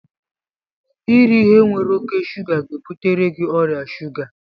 Iri ihe nwere oke shuga ga-ebutere gị ọrịa shuga